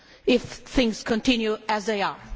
if things continue as they are?